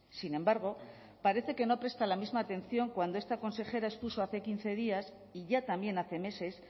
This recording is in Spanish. sin embargo parece que no presta la misma atención cuando esta consejera expuso hace quince días y ya también hace meses